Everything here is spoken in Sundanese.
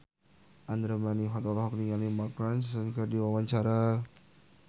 Andra Manihot olohok ningali Mark Ronson keur diwawancara